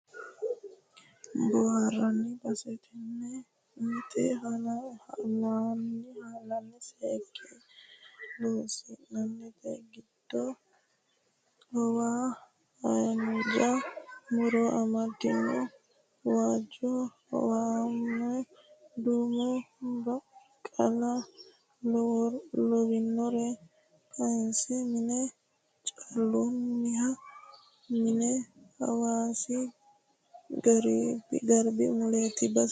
Booharanni base tene mitu halanyi seekke loosinote giddo awawa haanja muro amadinoha waajjo awawamo duumo baqala lawinore kayise mine caalunihano mino hawaasi garbi muleti base.